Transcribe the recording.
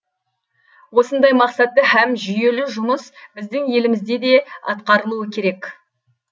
осындай мақсатты һәм жүйелі жұмыс біздің елімізде де атқарылу керек